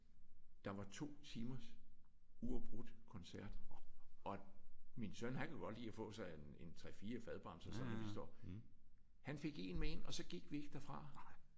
Der var 2 timers uafbrudt koncert! Og min søn han kan godt lide at få sig en en 3 4 fadbamser sådan når vi står. Han fik en med derind og så gik vi ikke derfra